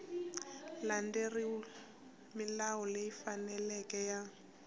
landzelerile milawu leyi faneleke ya